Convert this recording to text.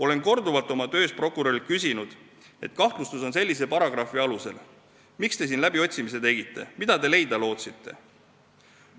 Olen korduvalt oma töös prokurörilt küsinud, et kahtlustus on sellise või sellise paragrahvi alusel, aga miks te läbiotsimise tegite, mida te leida lootsite.